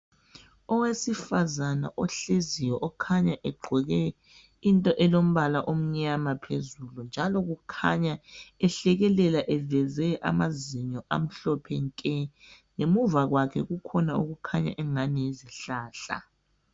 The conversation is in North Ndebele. Owesifazane ohleziyo okhanya egqoke into elombala omnyama phezulu njalo kukhanya ehlekelela eveze amazinyo amhlophe nke. Ngemuva kwakhe kukhona okukhanya angani yisihlahla.